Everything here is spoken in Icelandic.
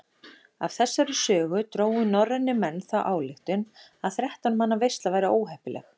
Af þessari sögu drógu norrænir menn þá ályktun að þrettán manna veisla væri óheppileg.